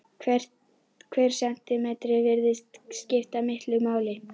Hver sentímetri virðist skipta miklu máli.